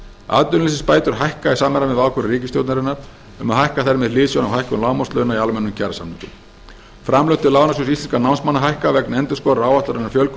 atvinnuleysisbætur hækka í samræmi við ákvörðun ríkisstjórnarinnar um að hækka þær með hliðsjón af hækkun lágmarkslauna í almennum kjarasamningum framlög til lánasjóðs íslenskra námsmanna hækka vegna endurskoðaðrar áætlunar um fjölgun